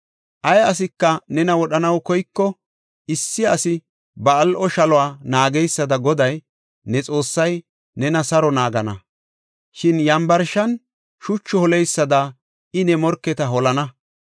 Ay asika nena wodhanaw koyiko, issi asi ba al7o shaluwa naageysada Goday, ne Xoossay nena saro naagana. Shin yambarshan shuchu holeysada I ne morketa holana.